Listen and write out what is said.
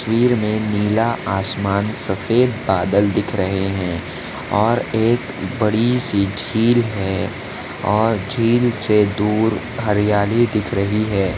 तस्वीर मे नीला आसमान सफ़ेद बादल दिख रहे है और एक बड़ी सी झील है और झील से दूर हरियाली दिख रही है।